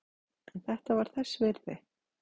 En þetta var þess virði.